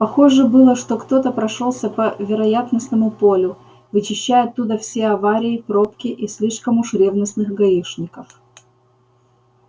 похоже было что кто-то прошёлся по вероятностному полю вычищая от туда все аварии пробки и слишком уж ревностных гаишников